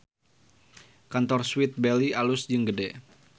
Kantor Sweet Belly alus jeung gede